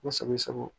Sɛbɛ sɛbɛ